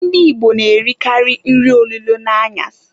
Ndị Igbo na-erikalị nri olulo n'anyasị.